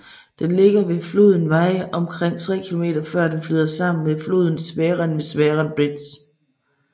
Den ligger ved floden Wye omkring 3 km før dne flyder sammen med floden Severn ved Severn Bridge